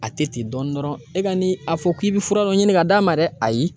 A tɛ ten dɔɔnin dɔrɔn e ka ni a fɔ k'i bɛ fura dɔ ɲini ka d'a ma dɛ ayi